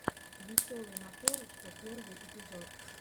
веселый накорушка первый эпизод